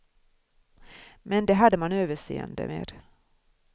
Men det hade man överseende med.